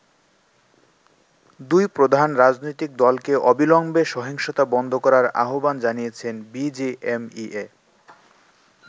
দুই প্রধান রাজনৈতিক দলকে অবিলম্বে সহিংসতা বন্ধ করার আহ্বান জানিয়েছে বিজিএমইএ।